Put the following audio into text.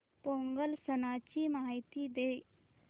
पोंगल सणाची माहिती दे